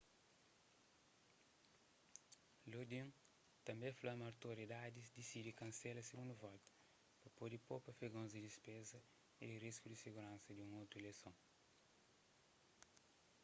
lodin tanbê fla ma otoridadis disidi kansela sigundu volta pa pode popa afegons di dispezas y di risku di siguransa di un otu ileison